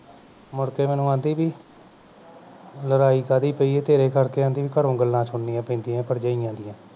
ਮੁੜ ਕੇ ਮੈਨੂੰ ਆਦੀ ਬਈ ਲੜਾਈ ਕਾਹਦੀ ਪਈ ਐ ਤੇਰੇ ਕਰਕੇ ਆਦੀ ਬਈ ਘਰੋਂ ਗੱਲਾਂ ਸੁਹਣਿਆਂ ਪੈਂਦੀਆਂ ਭਰਜਾਈਆਂ ਦੀਆਂ